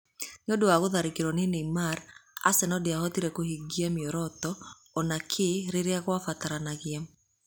Nĩ ũndũ wa gũtharĩkĩrwo nĩ Neymar, Arsenal ndĩahotire kũhiga mĩoroto o na kĩ rĩrĩa kwabataranagia.